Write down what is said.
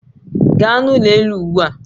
Gaa n'ụlọ elu ugbu a